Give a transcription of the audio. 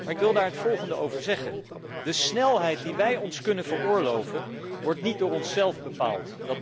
Ik wil daar het volgende over zeggen de snelheid die wij ons kunnen veroorloven, wordt niet door onszelf bepaald.